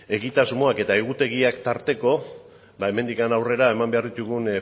egitasmoak eta egutegiak tarteko ba hemendik aurrera eman behar ditugun